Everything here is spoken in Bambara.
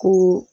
Ko